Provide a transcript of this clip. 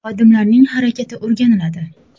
Xodimlarning harakati o‘rganiladi.